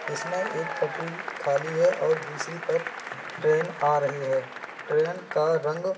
इसमें एक पटरी खाली है और दूसरी पर ट्रेन आ रही है। ट्रेन का रंग --